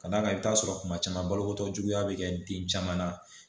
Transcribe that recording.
Ka d'a kan i bɛ t'a sɔrɔ kuma caman baloko juguya bɛ kɛ den caman na